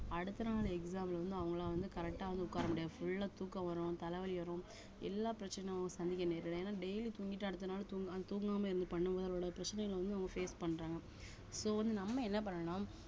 அடுத்த நாள் exam ல வந்து அவங்களா வந்து correct ஆ வந்து உட்கார முடியாது full ஆ தூக்கம் வரும் தல வலி வரும் எல்லா பிரச்சனையும் சந்திக்க நேரிடும் ஏன்னா daily தூங்கிட்டு அடுத்த நாள் தூங்~ தூங்காம இருந்து பண்ணும் போது அதோட பிரச்சனைகள் வந்து அவங்க face பண்றாங்க so வந்து நம்ம என்ன பண்ணணும்ன்னா